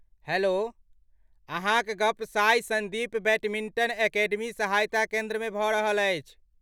Hello! अहाँक गप साई सन्दीप बैडमिन्टन अकेडमी सहायता केन्द्रमे भऽ रहल अछि।